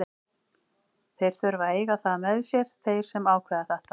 Þeir þurfa að eiga það með sér, þeir sem ákveða þetta.